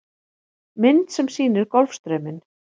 Mynd sem sýnir Golfstrauminn.